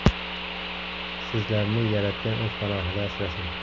Sizlarni Yaratgan o‘z panohida asrasin.